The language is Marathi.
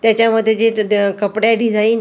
त्याच्यामध्ये जे ड कपडे डिजाईन ती पूर्ण रेड क --